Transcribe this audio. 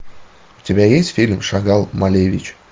у тебя есть фильм шагал малевич